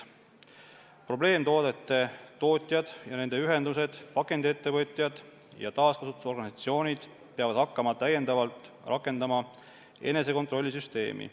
Probleemtoodete tootjad ja nende ühendused, pakendiettevõtjad ja taaskasutusorganisatsioonid peavad hakkama täiendavalt rakendama enesekontrolli süsteemi.